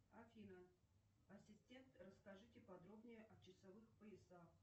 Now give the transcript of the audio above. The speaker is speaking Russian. афина ассистент расскажите подробнее о часовых поясах